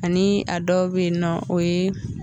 Ani a dɔ be nɔ o ye